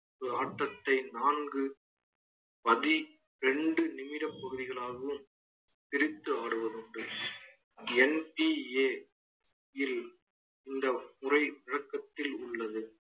ஒரு ஆட்டத்தை நான்கு பதிரெண்டு நிமிடப் பகுதிகளாகவும் பிரித்து ஆடுவதுண்டு NCA யில் இந்த முறை விளக்கத்தில் உள்ளது